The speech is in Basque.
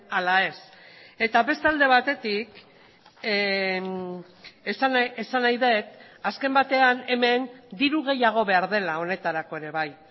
ala ez eta beste alde batetik esan nahi dut azken batean hemen diru gehiago behar dela honetarako ere bai